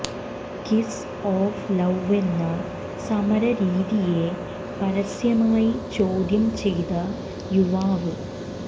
kiss of ലൌവെന്ന സമര രീതിയെ പരസ്യമായി ചോദ്യം ചെയ്ത യുവാവ്